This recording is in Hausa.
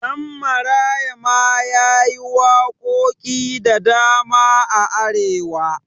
Ɗanmaraya ma yayi waƙoƙi da dama a arewa